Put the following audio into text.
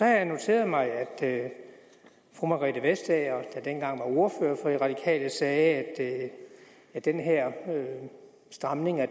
jeg noteret mig at fru margrethe vestager der dengang var ordfører for de radikale sagde at den her stramning af